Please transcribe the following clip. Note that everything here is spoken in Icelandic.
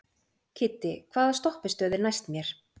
Kiddi, hvaða stoppistöð er næst mér?